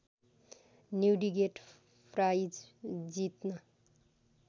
Newdigate prize जित्न